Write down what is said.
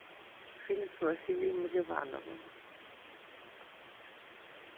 фильм с василием ливановым